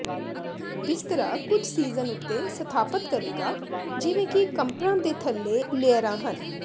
ਬਿਸਤਰਾ ਕੁਝ ਸੀਜ਼ਨ ਉੱਤੇ ਸਥਾਪਤ ਕਰੇਗਾ ਜਿਵੇਂ ਕਿ ਕੰਪ੍ਰਾਂ ਦੇ ਥੱਲੇ ਲੇਅਰਾਂ ਹਨ